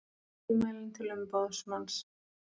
Tilmælin til umboðsmanns